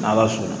N'ala sɔnna